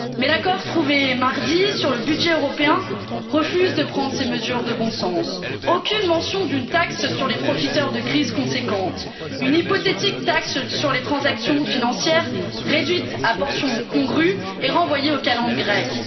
Mais l'accord trouvé mardi sur le budget européen refuse de prendre ces mesures de bon sens aucune mention d'une taxe sur les profiteurs de crise conséquente, une hypothétique taxe sur les transactions financières, réduite à portion congrue et renvoyée aux calendes grecques.